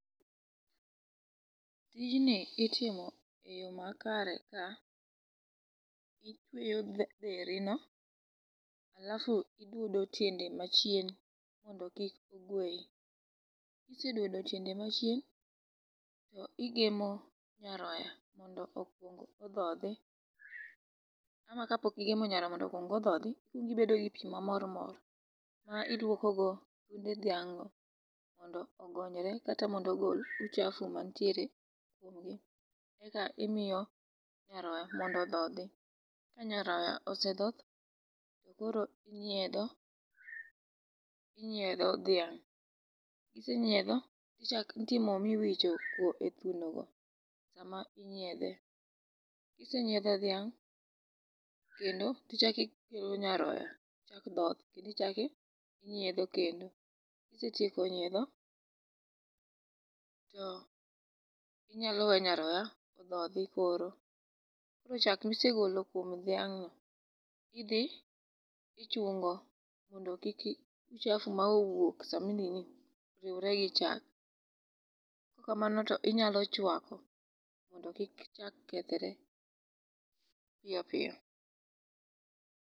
Tijni itimo e yo makare ka itweyo dherino, alafu idwodo tiende machien mondo kik ogweyi. kisedwodo tiende machien, to igemo nyaroya mondo okwong odhodhi, ama kapok igemo nyaroya mondo okwong odhodhi, ikwongo ibedo gi pi mamor mor ma iluokogo thunde dhiang' mondo ogonyre kata mondo ogol uchafu mantiere irgi, eka imiyo nyaroya mondo odhodhi. ka nyaroya osedhoth, to koro inyiedho, inyiedho dhiang',kisenyiedho, nitie mo miwichoe thunogo sama inyiedhe. Kisenyiedho dhiang', kendo tichako ikelo nyaroya tochako dhoth, kendo ichako inyiedho kendo. Kisetieko nyiedho, to inyalo we nyaroya odhodhi koro. Koro chak misegolo kuom dhiang'no, idhi ichungo, mondo kik uchafu manowuok sami nini riwre gi chak, kokamano to inyalo chwako mondo kik chak kethre piyo piyo.